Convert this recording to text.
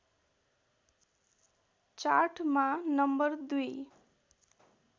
चार्टमा नम्बर २